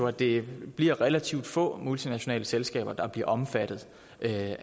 at det bliver relativt få multinationale selskaber der bliver omfattet af